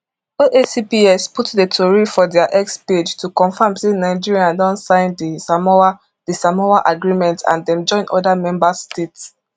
oacps put di tori for dia x page to confam say nigeria don sign di samoa di samoa agreement and dem join oda members states